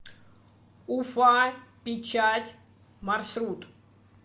уфа печать маршрут